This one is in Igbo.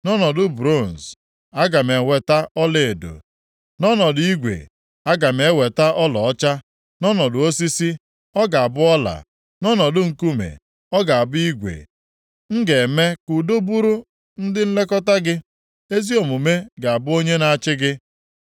Nʼọnọdụ bronz, aga m eweta ọlaedo, nʼọnọdụ igwe aga m eweta ọlaọcha. Nʼọnọdụ osisi, ọ ga-abụ ọla, nʼọnọdụ nkume, ọ ga-abụ igwe. M ga-eme ka udo bụrụ ndị nlekọta gị ezi omume ga-abụ onye na-achị gị.